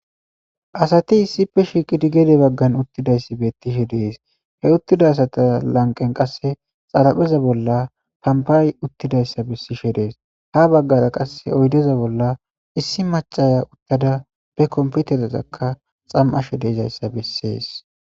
Asati issippe shiqqidi gedde baggan uuttidayssi bettishe de'es he uuttida asata lanqen qase xaraphpheza bolla lambbay uuttidayssa besishe dees ha baggara qase oyddeza bolla issi macaya uuttada be kompiterazakka xana'ashe dizayssa besses